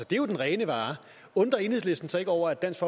det er jo den rene vare undrer enhedslisten sig ikke over at dansk